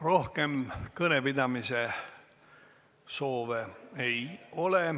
Rohkem kõnepidamise soove ei ole.